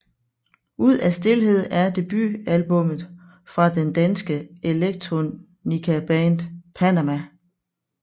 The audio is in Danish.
Ud af stilhed er debutalbummet fra det danske electronicaband Panamah